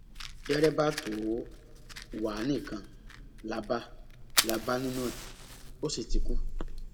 dèrèbà tó wá a nìkan là bá là bá nínú ẹ ó sì ti kú